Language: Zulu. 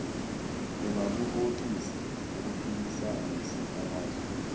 ungakuhoxisa ukuphikisana nesikhalazo